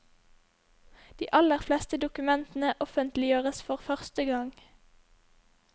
De aller fleste dokumentene offentliggjøres for første gang.